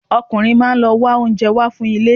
Ọkùnrin máa lọ ń wá oúnjẹ wá fún ilé.